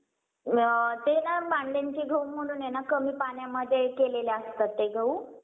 अ ते ना मांड्यांचे गहू म्हणून आहे ना कमी पाण्यामध्ये केलेले असतात ते गहू.